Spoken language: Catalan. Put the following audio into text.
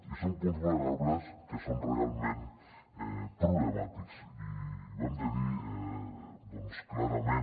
i són punts vulnerables que són realment problemàtics i ho hem de dir clarament